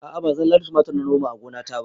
A'a ba zallar tumatir na noma a gonata ba